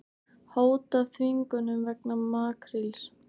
Hóta þvingunum vegna makríls